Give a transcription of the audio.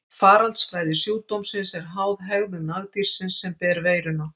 Faraldsfræði sjúkdómsins er háð hegðun nagdýrsins sem ber veiruna.